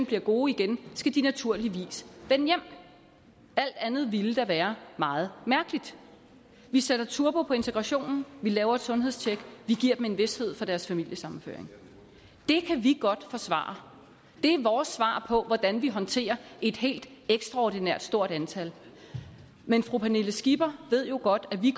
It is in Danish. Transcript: bliver gode skal de naturligvis vende hjem alt andet ville da være meget mærkeligt vi sætter turbo på integrationen vi laver et sundhedstjek vi giver dem en vished for deres familiesammenføring det kan vi godt forsvare det er vores svar på hvordan vi håndterer et helt ekstraordinært stort antal men fru pernille skipper ved jo godt at vi